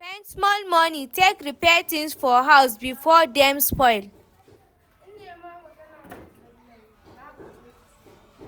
Spend small money take repair things for house before dem spoil